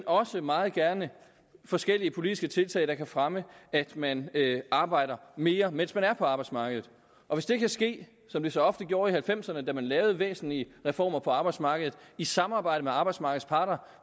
også meget gerne forskellige politiske tiltag der kan fremme at man arbejder mere mens man er på arbejdsmarkedet og hvis det kan ske som det så ofte gjorde i nitten halvfemserne da man lavede væsentlige reformer på arbejdsmarkedet i samarbejde med arbejdsmarkedets parter